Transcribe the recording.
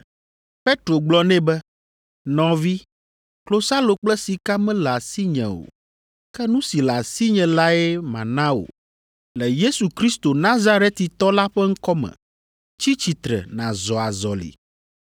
Petro gblɔ nɛ be, “Nɔvi, klosalo kple sika mele asinye o, ke nu si le asinye lae mana wò. Le Yesu Kristo, Nazaretitɔ la ƒe ŋkɔ me, tsi tsitre nàzɔ azɔli.”